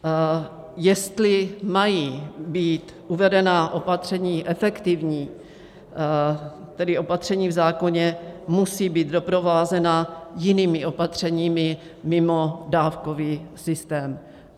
Jestli mají být uvedená opatření efektivní, tedy opatření v zákoně musí být doprovázena jinými opatřeními mimo dávkový systém.